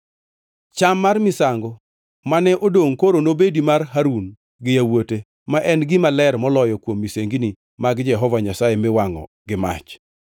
Cham mar misango mane odongʼ koro nobedi mar Harun gi yawuote, ma en gima ler moloyo kuom misengini mag Jehova Nyasaye miwangʼo gi mach.